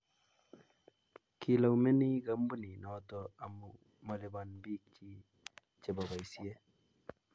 Kilaumenik kampinit noto amu maluban biik chi che bo boisie.